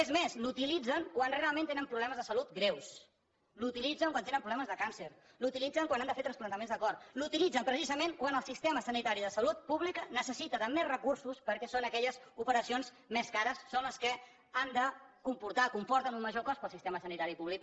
és més l’utilitzen quan realment tenen problemes de salut greus l’utilitzen quan tenen problemes de càncer l’utilitzen quan han de fer transplantaments de cor l’utilitzen precisament quan el sistema sanitari de salut pública necessita de més recursos perquè són aquelles operacions més cares són les que han de comportar o comporten un major cost per al sistema sanitari públic